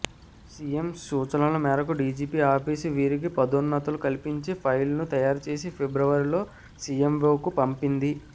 CM సూచన ల మేరకు డీజీపీ ఆఫీసు వీరికి పదోన్నతులు కల్పించే ఫైల్ను తయారు చేసి ఫిబ్రవరిలో సీఎంవోకు పంపింది